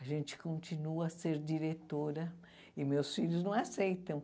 A gente continua a ser diretora e meus filhos não aceitam.